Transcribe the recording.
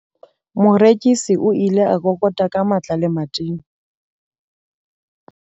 Morekisi o ile a kokota ka matla lemating.